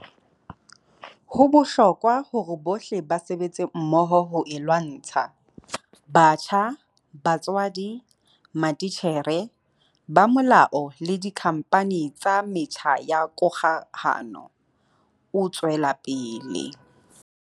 Ho bohlokwa hore bohle ba sebetse mmoho ho e lwantsha - batjha, batswadi, matitjhere, ba molao le dikhampani tsa metjha ya kgokahano, o tswela pele.